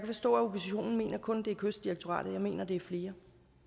forstå at oppositionen mener at det kun er kystdirektoratet jeg mener at det er flere